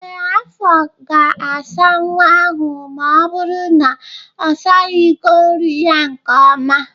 Ee, afọ ga-asa nwa ahụ ma ọ bụru na-asaghi iko nri ya nke ọma